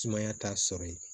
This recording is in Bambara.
Sumaya t'a sɔrɔ yen